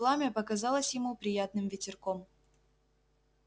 пламя показалось ему приятным ветерком